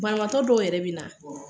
Banabatɔ dɔw yɛrɛ be na